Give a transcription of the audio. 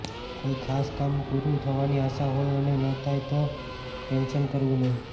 કોઈ ખાસ કામ પૂરું થવાની આશા હોય અને ન થાય તો ટેન્શન કરવું નહીં